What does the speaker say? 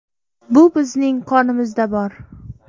Bu bizning qonimizda bor.